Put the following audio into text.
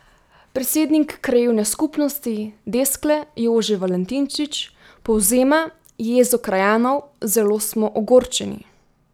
Predsednik krajevne skupnosti Deskle Jože Valentinčič povzema jezo krajanov: "Zelo smo ogorčeni.